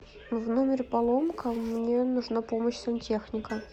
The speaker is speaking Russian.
в номере поломка мне нужна помощь сантехника